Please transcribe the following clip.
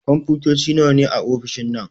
Kunfotoci nawa ne a ofishin nan?